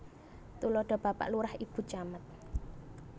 Tuladha Bapak Lurah Ibu Camat